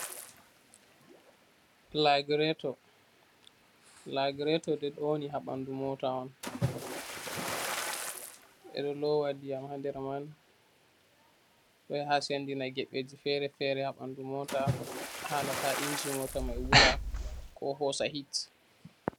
Flagiratoh, flagiratoh ɗai woni ha banɗu mota on, beɗo lowa diyam ha ɗer man, do yaha sendjina gebeji féré-féré hà banɗu mota hala ta inji mota man wula ko hosa hit.